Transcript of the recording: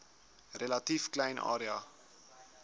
relatief klein area